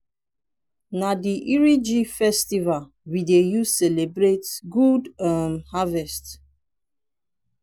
na di iriji festival we dey use celebrate good um harvest.